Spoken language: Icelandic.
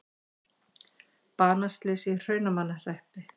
Banaslys í Hrunamannahreppi